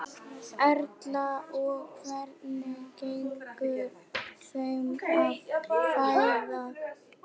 Erla: Og hvernig gengur þeim að fæða?